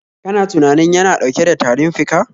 Kana tunanin yana dauke da tarin fika?